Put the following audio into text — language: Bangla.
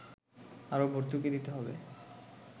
আরও ভর্তুকি দিতে হবে